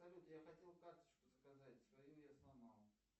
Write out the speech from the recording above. салют я хотел карточку заказать свою я сломал